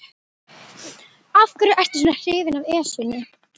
Af hverju ertu svona hrifinn af Esjunni?